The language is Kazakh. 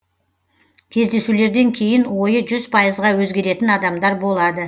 кездесулерден кейін ойы жүз пайызға өзгеретін адамдар болады